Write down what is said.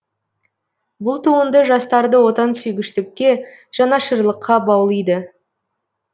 бұл туынды жастарды отансүйгіштікке жанашырлыққа баулиды